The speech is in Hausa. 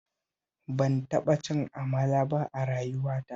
Ban taɓa cin amala ba a rayuwata